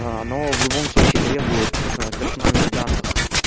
аа но в любом случае требует персональных данных